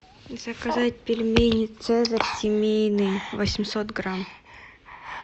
заказать пельмени цезарь семейные восемьсот грамм